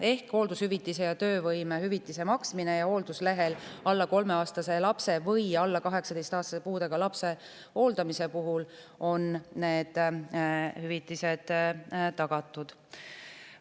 Ehk hooldushüvitise ja töövõimetushüvitise maksmine hoolduslehel alla 3-aastase lapse või alla 18-aastase puudega lapse hooldamise puhul on tagatud.